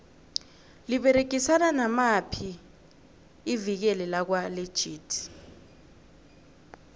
liberegisana namaphi ivikile lakwa legit